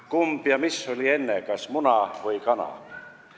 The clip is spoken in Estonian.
Kumb oli enne: kas muna või kana?